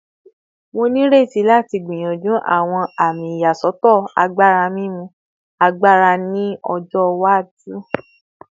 Mo n reti lati gbiyanju awọn ami iyasọtọ agbara mimu agbara ni ọjọ iwaju